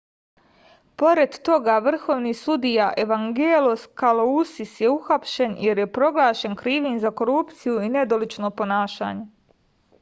pored toga vrhovni sudija evangelos kalousis je uhapšen jer je proglašen krivim za korupciju i nedolično ponašanje